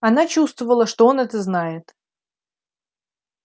она чувствовала что он это знает